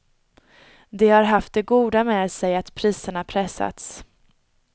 Det har haft det goda med sig att priserna pressats.